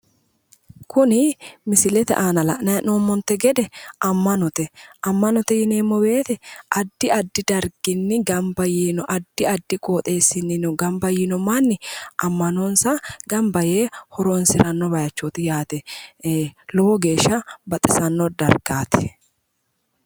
Kuni mislilete aana la'nanni hee'noommonte gede amanote. amanote yineemmo woyte addi addi darginni gamba yiinno addi addi qoxeessiniino gamba yiino manni ama'nonsa gamba yee horonsirano bayiichooti yaate. Lowo geeshsha biifanno dargaati.